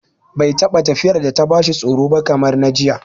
Bai taɓa tafiyar da ya bashi tsoro ba kamar na jiya